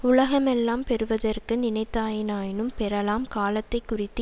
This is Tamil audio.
உலகமெல்லாம் பெறுவதற்கு நினைத்தாயினாயினும் பெறலாம் காலத்தை குறித்து